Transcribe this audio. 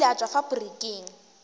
o ile a tšwa faporiking